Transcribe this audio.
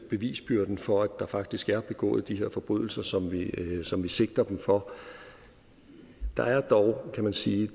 bevisbyrden for at der faktisk er begået de her forbrydelser som som vi sigter dem for der er dog kan man sige